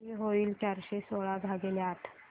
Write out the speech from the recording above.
किती होईल चारशे सोळा भागीले आठ